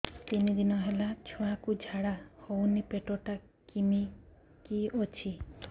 ତିନି ଦିନ ହେଲା ଛୁଆକୁ ଝାଡ଼ା ହଉନି ପେଟ ଟା କିମି କି ଅଛି